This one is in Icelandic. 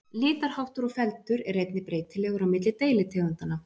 litarháttur og feldur er einnig breytilegur á milli deilitegundanna